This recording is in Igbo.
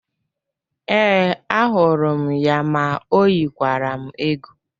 Ee, ahụrụ m ya ma ọ yikwara m egwu